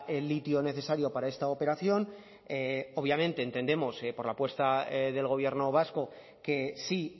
el litio necesario para esta operación obviamente entendemos por la apuesta del gobierno vasco que sí